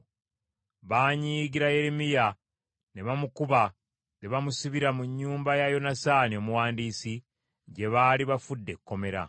Baanyiigira Yeremiya ne bamukuba ne bamusibira mu nnyumba ya Yonasaani omuwandiisi, gye baali bafudde ekkomera.